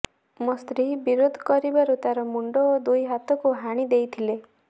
ମୋ ସ୍ତ୍ରୀ ବିରୋଧ କରିବାରୁ ତାର ମୁଣ୍ଡ ଓ ଦୁଇ ହାତକୁ ହାଣି ଦେଇଥିଲେ